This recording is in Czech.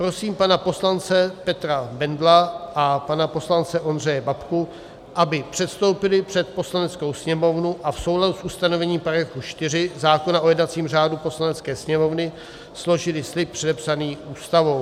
Prosím pana poslance Petra Bendla a pana poslance Ondřeje Babku, aby předstoupili před Poslaneckou sněmovnu a v souladu s ustanovením § 4 zákona o jednacím řádu Poslanecké sněmovny složili slib předepsaný Ústavou.